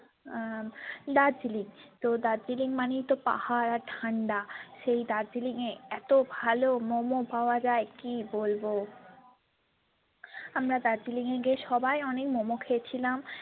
আহ দার্জিলিং তো দার্জিলিং মানেই তো পাহাড় আর ঠান্ডা সেই দার্জিলিংয়ে এতো ভালো momo পাওয়া যায় কী বলবো আমরা দার্জিলিংয়ে গিয়ে সবাই অনেক momo খেয়েছিলাম।